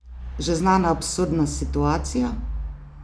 Že znana absurdna situacija?